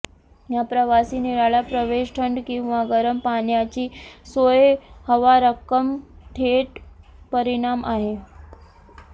या प्रवासी निराळा प्रवेश थंड किंवा गरम पाण्याची सोय हवा रक्कम थेट परिणाम आहे